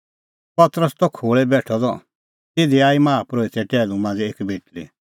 पतरस त खोल़ै बेठअ द तिधी आई माहा परोहिते टैहलू मांझ़े एक बेटल़ी